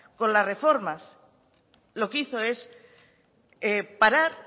con las reformas lo que hizo es parar